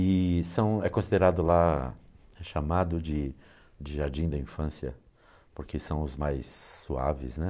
E são, é considerado lá, é chamado de de jardim da infância, porque são os mais suaves, né?